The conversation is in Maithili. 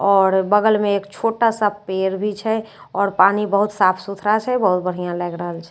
आओर बगल मे एक छोटा सा पेड़ भी छै आओर पानी बहुत साफ सुथरा छै बहुत बढ़िया लागि रहल छे।